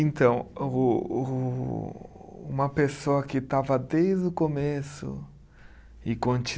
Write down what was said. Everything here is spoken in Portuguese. Então o o, uma pessoa que estava desde o começo e conti